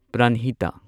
ꯄ꯭ꯔꯟꯍꯤꯇꯥ